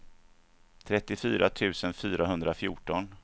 trettiofyra tusen fyrahundrafjorton